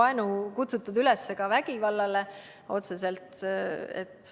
Ma ei tea, kas seal on kutsutud üles ka otseselt vägivallale.